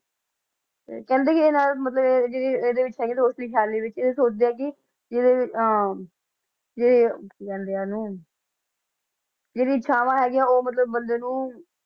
ਤੇ ਕਹਿੰਦੇ ਕਿ ਇਹਨਾਂ ਦਾ ਮਤਲਬ ਜਿਹੜੀ ਇਹਦੇ ਵਿੱਚ ਹੈਗੇ ਰੋਸ਼ਨੀ ਖ਼ਿਆਲੀ ਵਿੱਚ ਇਹ ਸੋਚਦੇ ਆ ਕਿ ਜਿਹੜੇ ਵੀ ਅਹ ਜੇ ਕੀ ਕਹਿੰਦੇ ਆ ਉਹਨੂੰ ਜਿਹੜੀਆਂ ਇਛਾਵਾਂ ਹੈਗੀਆਂ ਉਹ ਮਤਲਬ ਬੰਦੇ ਨੂੰ